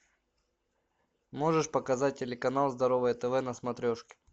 можешь показать телеканал здоровое тв на смотрешке